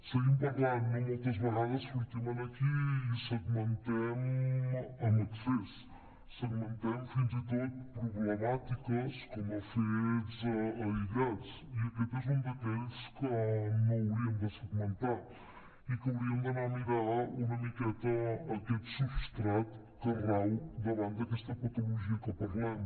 seguim parlant no moltes vegades sortim aquí i segmentem en excés segmentem fins i tot problemàtiques com a fets aïllats i aquest és un d’aquells que no hauríem de segmentar i que hauríem d’anar a mirar una miqueta aquest substrat que rau davant d’aquesta patologia que parlem